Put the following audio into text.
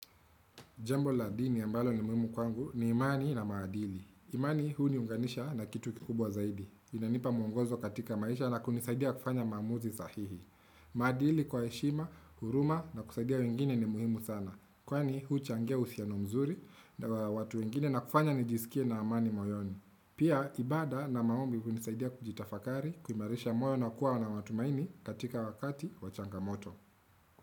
Jambo la dini ambalo ni muhimu kwangu ni imani na maadili. Imani huniunganisha na kitu kikubwa zaidi. Inanipa muongozo katika maisha na kunisaidia kufanya maamuzi sahihi. Maadili kwa heshima, huruma na kusaidia wengine ni muhimu sana. Kwani huchangia uhusiano mzuri na watu wengine na kufanya nijisikie na amani moyoni. Pia ibada na maombi hunisaidia kujitafakari, kuimarisha moyo na kuwa na matumaini katika wakati wachangamoto.